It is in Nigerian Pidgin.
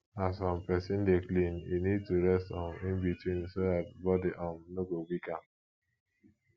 as um person dey clean e need to rest um in between so that body um no go weak am